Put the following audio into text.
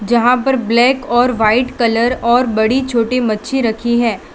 जहां पर ब्लैक और वाइट कलर और बड़ी छोटी मच्छी रखी है।